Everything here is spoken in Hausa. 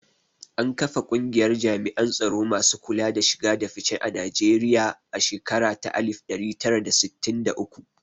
An kafa kungiyar jami'an tsaro masu kula da shiga da fice na Nigerian a shekara ta alif ɗari tara da sittin da uku